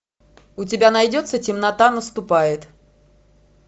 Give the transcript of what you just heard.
у тебя найдется темнота наступает